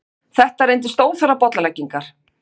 Þetta reyndust óþarfar bollaleggingar.